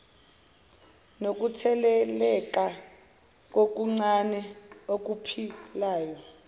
nokutheleleka kokuncane okuphilayo